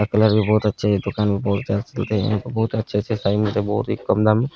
ओकर कलर भी बहुत अच्छे हैं दोकान भी बहुत ज्यादे चलते हैं बहुत अच्छे-अच्छे साड़ी मिलते हैं बहुत ही कम दाम में।